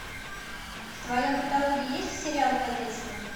в твоем каталоге есть сериал кадетство